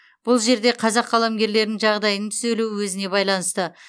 бұл жерде қазақ қаламгерлерінің жағдайының түзелуі өзіне байланысты